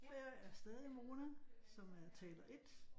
Jeg er stadig Mona som er taler 1